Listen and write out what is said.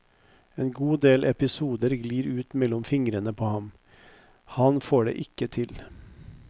En god del episoder glir ut mellom fingrene på ham, han får det ikke til.